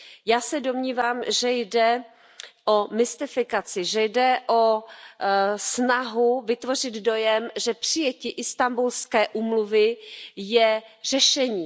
Já se domnívám, že jde o mystifikaci, že jde o snahu vytvořit dojem, že přijetí Istanbulské úmluvy je řešení.